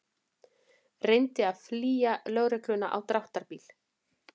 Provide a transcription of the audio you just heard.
Reyndi að flýja lögregluna á dráttarbíl